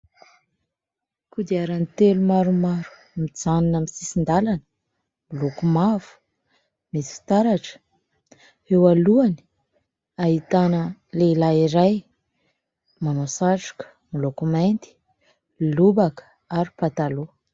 Kodiaran-telo maromaro mijanona amin'ny sisin-dalana : miloko mavo, misy fitaratra. Eo alohany ahitana lehilahy iray manao satroka miloko mainty, lobaka ary pataloha.